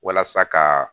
Walasa ka